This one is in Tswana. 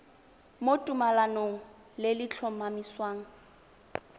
mo tumalanong le le tlhomamisang